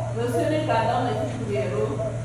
Rũciũ nĩngathoma ibuku rĩerũ